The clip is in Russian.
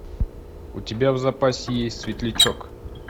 у тебя в запасе есть светлячок